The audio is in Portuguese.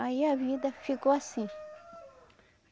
Aí a vida ficou assim.